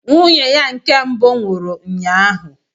Nwunye ya nke mbụ nwụrụ ụnyaahụ.